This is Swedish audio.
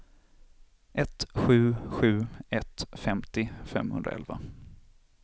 ett sju sju ett femtio femhundraelva